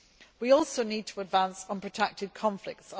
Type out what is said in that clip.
We also need to advance on protracted conflicts.